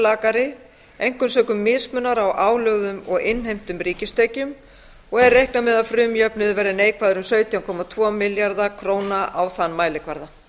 lakari einkum sökum mismunar á álögðum og innheimtum ríkistekjum og er reiknað með að frumjöfnuður verði neikvæður um sautján komma tvo milljarða króna á þann mælikvarða